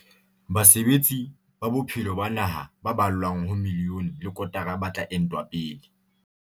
Basebetsi ba bophelo ba naha ba ballwang ho miliyone le kotara ba tla entwa pele.